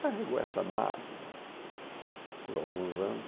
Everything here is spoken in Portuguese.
Carregou essa mágoa por alguns anos.